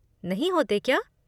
नहीं होते क्या?